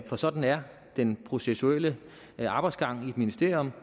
for sådan er den processuelle arbejdsgang i et ministerium